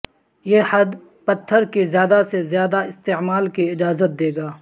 یہ حد پتھر کی زیادہ سے زیادہ استعمال کی اجازت دے گا